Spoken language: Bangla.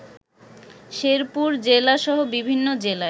শেরপুর জেলাসহ বিভিন্ন জেলায়